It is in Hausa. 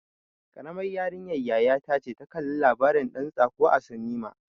Karamar yarinyar yaya ta ce ta kalla labarin ɗan tsako a sinima.